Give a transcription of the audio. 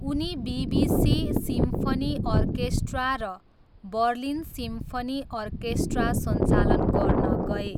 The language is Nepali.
उनी बीबीसी सिम्फनी अर्केस्ट्रा र बर्लिन सिम्फनी अर्केस्ट्रा सञ्चालन गर्न गए।